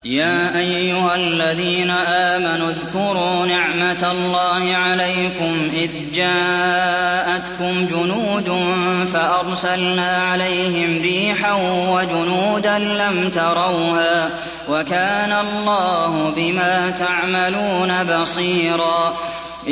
يَا أَيُّهَا الَّذِينَ آمَنُوا اذْكُرُوا نِعْمَةَ اللَّهِ عَلَيْكُمْ إِذْ جَاءَتْكُمْ جُنُودٌ فَأَرْسَلْنَا عَلَيْهِمْ رِيحًا وَجُنُودًا لَّمْ تَرَوْهَا ۚ وَكَانَ اللَّهُ بِمَا تَعْمَلُونَ بَصِيرًا